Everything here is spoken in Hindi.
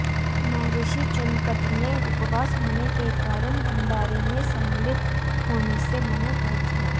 महर्षि चुनकट ने उपवास होने के कारण भण्डारे में सम्मिलित होने से मना कर दिया